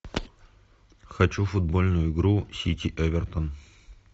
хочу футбольную игру сити эвертон